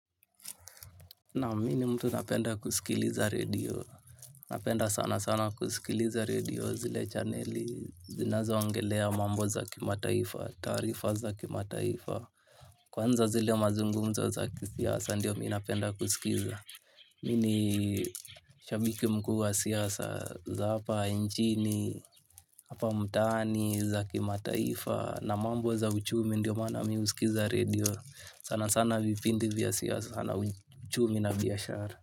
Na mi ni mtu napenda kusikiliza radio, napenda sana sana kusikiliza radio zile chaneli, zinazoongelea mambo za kimataifa, tarifa za kimataifa, kwanza zile mazungumzo za kisiasa, ndio mi napenda kusikiza. Mi ni shabiki mkuu wa siasa za hapa nchini, hapa mtani, za kimataifa. Na mambo za uchumi ndio maana mi husikiza radio sana sana vipindi vya siasa na uchumi na biashara.